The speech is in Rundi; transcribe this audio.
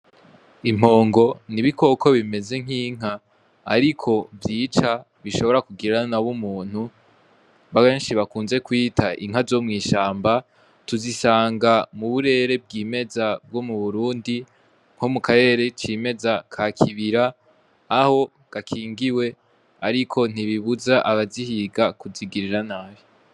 Impongo n'ibikoko bimeze nk'inka ariko vyica bishobora kugirira nab'umuntu benshi bakunze kwita inka zo mw'ishamba tuzisanga mu burere bwimeza bwo mu burundi nko mu karere cimeza ka kibira aho gakingiwe ariko ntubibuza abazihiga kuzigirira nabi.